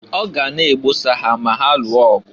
Ọ ga na-egbosa ha ma ha lụọ ọgụ.